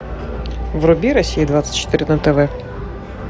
вруби россия двадцать четыре на тв